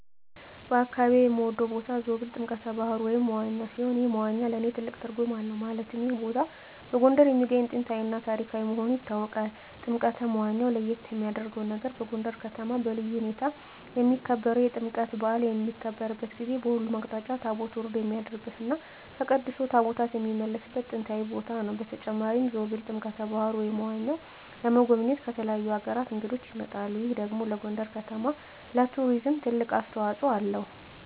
በአካባቢየ የምወደው ቦታ ዞብል ጥምቀተ ባህሩ (መዋኛ) ሲሆን ይህ መዋኛ ለእኔ ትልቅ ትርጉም አለው ማለትም ይህ ቦታ በጎንደር የሚገኝ ጥንታዊ እና ታሪካዊ መሆኑ ይታወቃል። ጥምቀተ መዋኛው ለየት የሚያረገው ነገር በጎንደር ከተማ በልዩ ሁኔታ የሚከበረው የጥምቀት በአል በሚከበርበት ጊዜ በሁሉም አቅጣጫ ታቦት ወርዶ የሚያድርበት እና ተቀድሶ ታቦታት የሚመለስበት ጥንታዊ ቦታ ነው። በተጨማሪም ዞብል ጥምቀተ በሀሩ (መዋኛው) ለመጎብኘት ከተለያዩ አገራት እንግዶች ይመጣሉ ይህ ደግሞ ለጎንደር ከተማ ለቱሪዝም ትልቅ አስተዋጽኦ አለው።